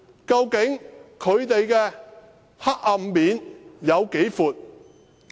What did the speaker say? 究竟他們的黑暗面有多闊？